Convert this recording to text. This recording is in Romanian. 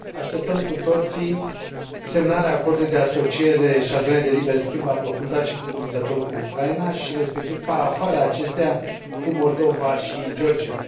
Așteptăm cu toții semnarea Acordului de asociere și a Zonei de liber schimb aprofundate și cuprinzătoare cu Ucraina și, respectiv, parafarea acesteia cu Moldova și Georgia.